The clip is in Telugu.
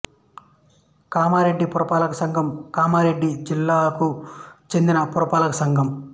కామారెడ్డి పురపాలక సంఘం కామారెడ్డి జిల్లాకు చెందిన పురపాలక సంఘం